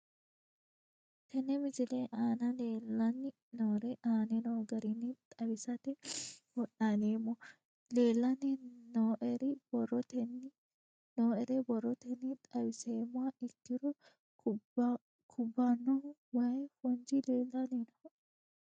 Tene misile aana leelanni nooerre aane noo garinni xawisate wonaaleemmo. Leelanni nooerre borrotenni xawisummoha ikkiro kubbanohu way foonchi leelanni nooe.